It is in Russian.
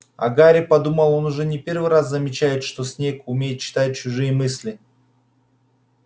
а гарри подумал он уже не первый раз замечает что снегг умеет читать чужие мысли